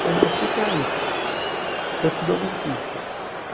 Falei, não, fica aí, eu te dou notícias.